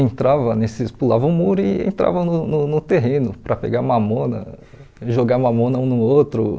entrava nesses, pulava o muro e entrava no no no terreno para pegar mamona, jogar mamona um no outro.